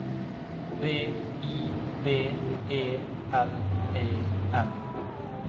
B I B E L E N